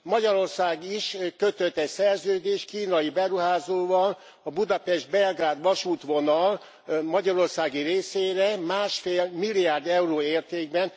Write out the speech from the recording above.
Magyarország is kötött egy szerződést kínai beruházóval a Budapest Belgrád vasútvonal magyarországi részére 1,5 milliárd euró értékben.